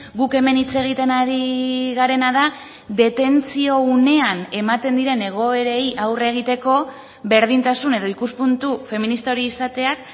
guk hemen hitz egiten ari garena da detentzio unean ematen diren egoerei aurre egiteko berdintasun edo ikuspuntu feminista hori izateak